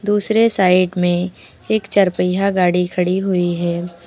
दूसरे साइड में एक चार पहिया गाड़ी खड़ी हुई है।